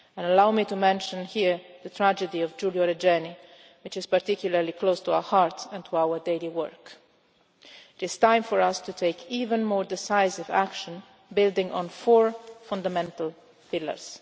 Allow me to mention here the tragedy of Giulio Regeni which is particularly close to our hearts and to our daily work. It is time for us to take even more decisive action building on four fundamental pillars.